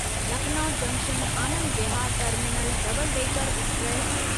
Lucknow junction Anand Vihar terminal double decker express